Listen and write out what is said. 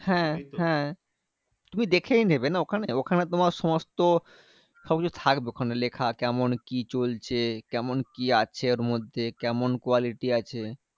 হ্যাঁ হ্যাঁ তুমি দেখেই নেবে না ওখানে? ওখানে তোমার সমস্ত সবকিছু থাকবে ওখানে লেখা। কেমন কি চলছে? কেমন কি আছে ওর মধ্যে? কেমন quality আছে?